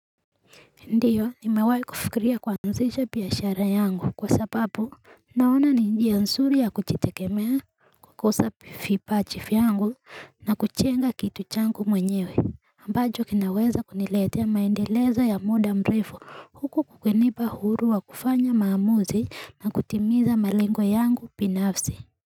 Ndiyo, nimewahi kufikiria kuanzisha biashara yangu kwa sababu naona ni njia nzuri ya kujitegemea kukosa vipaji vyangu na kujenga kitu changu mwenyewe ambacho kinaweza kuniletea maendelezo ya muda mrefu huku kukinipa huru wa kufanya maamuzi na kutimiza malengo yangu binafsi.